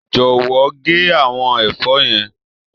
Jọ̀wọ́ gé àwọn ẹ̀fọ́ yẹn.